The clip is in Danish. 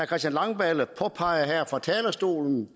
christian langballe påpegede her fra talerstolen